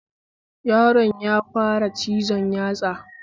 Yaron ya fara cizon yatsa